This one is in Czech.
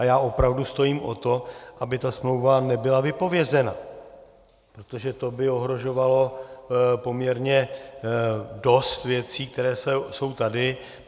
A já opravdu stojím o to, aby ta smlouva nebyla vypovězena, protože to by ohrožovalo poměrně dost věcí, které jsou tady.